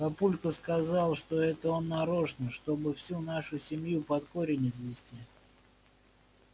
папулька сказал что это он нарочно чтобы всю нашу семью под корень извести